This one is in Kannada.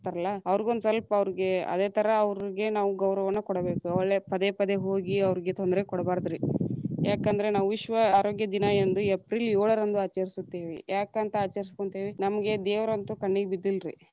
ಅವರಗು ಒಂದ ಸ್ವಲ್ಪ ಅವ್ರೀಗೆ ಅದೇತರಾ ಅವ್ರೀಗೆ ನಾವು ಗೌರವವನ್ನು ಕೊಡಬೇಕ, ಒಳ್ಳೆ ಪದೆ ಪದೇ ಹೋಗಿ ಅವರಿಗೆ ತೊಂದರೆ ಕೊಡಬಾರದ್ರಿ. ಯಾಕಂದ್ರ ನಾವ ವಿಶ್ವ ಆರೋಗ್ಯ ದಿನ ಎಂದು ಏಪ್ರೀಲ್‌ ಯೋಳರಂದು ಆಚರಿಸುತ್ತೇವೆ, ಯಾಕ ಅಂತ ಆಚರಿಸಕೊಂತೀವಿ ನಮಗೆ ದೇವರಂತು ಕಣ್ಣಿಗ್ ಬಿದ್ದಿಲ್ರಿ.